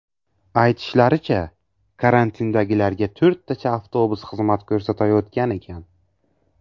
Aytishlaricha, karantindagilarga to‘rttacha avtobus xizmat ko‘rsatayotgan ekan.